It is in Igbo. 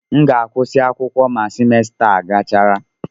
M ga-agụsị akwụkwọ ma semester a gachara.